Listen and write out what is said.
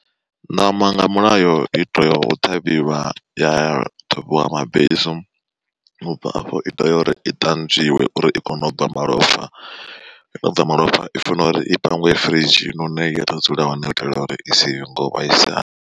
Ṋama nga mulayo i tea u ṱhavhiwa ya ṱhuvhiwa mabesu, ubva afho i tea uri i ṱanzwiwe uri i kone u bva malofha, yo no bva malofha i funa uri i pangiwe firidzhini hune ya ḓo dzula hone u itela uri i si ngo vhaisala.